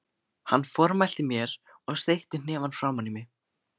Hann formælti mér og steytti hnefann framan í mig.